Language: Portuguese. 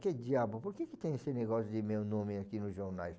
Que diabo, por que tem esse negócio de meu nome aqui nos jornais?